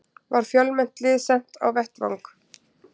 Var fjölmennt lið sent á vettvang